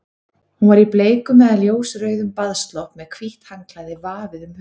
Hún var í bleikum eða ljósrauðum baðslopp með hvítt handklæði vafið um höfuðið.